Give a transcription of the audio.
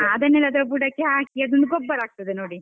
ಹಾ ಅದನ್ನೆಲ್ಲಾ ಅದ್ರ ಬುಡಕ್ಕೆ ಹಾಕಿ ಅದು ಗೊಬ್ಬರ ಆಗ್ತದೆ ನೋಡಿ.